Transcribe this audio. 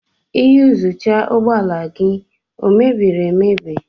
Iyuzucha ụgbọ ala gị ọ mebiri emebi?